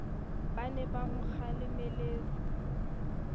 ba ne ba mo kgalemelletse